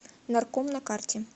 норком на карте